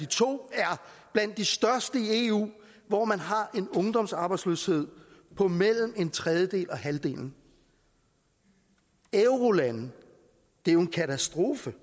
to er blandt de største i eu hvor man har en ungdomsarbejdsløshed på mellem en tredjedel og halvdelen eurolandene det er jo en katastrofe